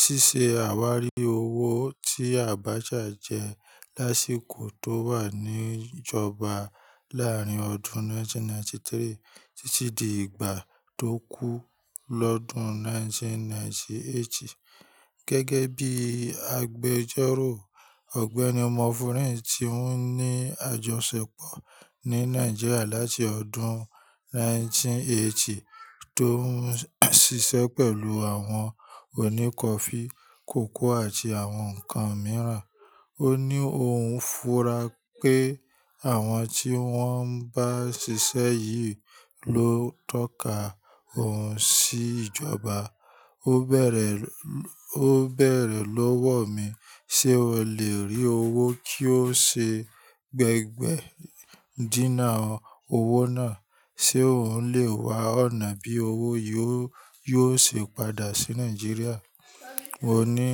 Síse àwárí owó tí Abacha jẹ lásìkò tó wà ní ìjọba láàárín ọdún 1993 títí di ìgbà tó kú lọ́dún 1998. Gẹ́gẹ́ bí agbẹjọ́rò Ọ̀gbẹ́ni Mofurin tí ó ní àjọṣepọ̀ ní Nàìjíríà láti ọdún 1980 tó ń ṣiṣẹ́ pẹ̀lú àwọn òní kọfí, kòkó àti àwọn ǹkan mìíràn. Ó ní òun fura pé àwọn tí wọ́n bá ṣiṣẹ́ yìí ló tọ́ka òun sí ìjọba. Ó bẹ̀rẹ̀ lówó mi sé ò lè rí owó kí ó ṣe gbẹ́gbẹ́ dínà owó náà, sé òún lè wa ọ̀nà bí owó yìí yóò ṣe padà sí Nàìjíríà. Mo ní.